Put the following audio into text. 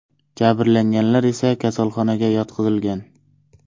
Jabrlanganlar esa kasalxonaga yotqizilgan.